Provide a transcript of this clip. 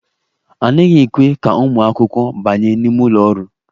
A naghị ekwe ka ụmụ akwụkwọ banye n'ime ụlọ ọrụ.